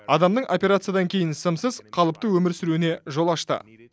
адамның операциядан кейін сымсыз қалыпты өмір сүруіне жол ашты